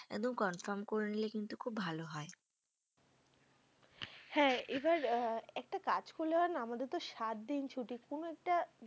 একদম confirm করে নিলে কিন্তু খুব ভালো হয়। হ্যাঁ এবার আ একটা কাজ করলে হয় না? আমাদের তো সাতদিন ছুটি। কোনো একটা